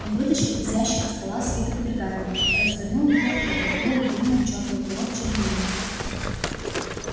он вытащил из ящика стола свиток пергамента развернул его и обмакнул длинное чёрное перо в чернильницу